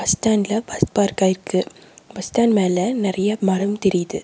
Bus ஸ்டாண்ட்ல bus பார்க்காயிருக்கு bus stand மேல நெறைய மரம் தெரியிது.